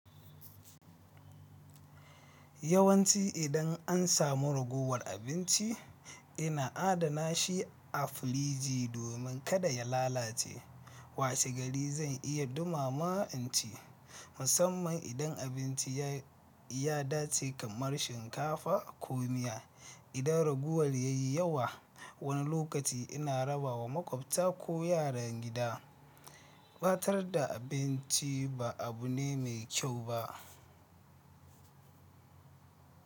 Yawanci idan an samu raguwar abinci, ina adana shi a firiji domin kada ya lalace. Washe gari zan iya dumama in ci, musamman idan abinci ya, ya dace kamar shinkafa ko miya. Idan ragowar ya yi yawa, wani lokaci ina rabawa maƙwabta ko yaran gida. Ɓatar da abinci ba abu ne mai kyau ba.